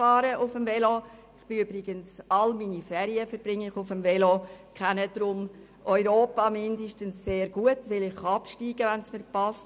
Ich verbringe übrigens alle meine Ferien auf dem Velo und kenne deshalb mindestens Europa, weil ich absteige, wenn es mir passt.